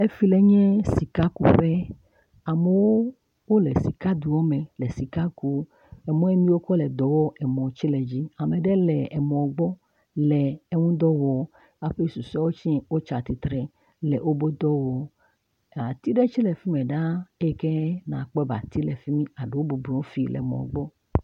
Efi le nye sikakuƒe, amewo wole sikadome le sika kum, emɔ miwo wokɔ le edɔ wɔm emɔ tse le yiyim, ame ɖe le emɔ gbɔ le eŋudɔ wɔm aƒe susuawe tse wotsi atsitre le woƒe dɔ wɔm, ati ɖewe tse le fi me ɖaa eyi ke nakpɔ be ati le fi mi ado bɔbɔ nɔ fi le emɔ gbɔ.